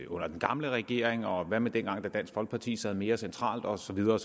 under den gamle regering og hvad med dengang dansk folkeparti sad mere centralt og så videre